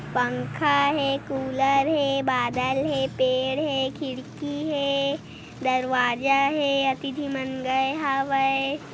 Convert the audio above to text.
पंखा हे कूलर हे बादल हे पेड़ हे खिड़की हे दरवाजा हे अति झीन मन गए हावय ।